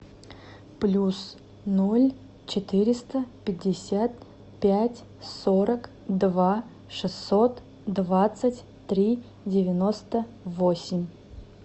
плюс ноль четыреста пятьдесят пять сорок два шестьсот двадцать три девяносто восемь